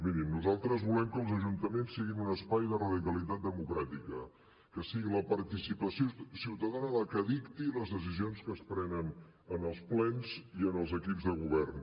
mirin nosaltres volem que els ajuntaments siguin un espai de radicalitat democràtica que sigui la participació ciutadana la que dicti les decisions que es prenen en els plens i en els equips de govern